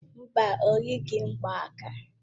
Mba, o yighị mgbaaka.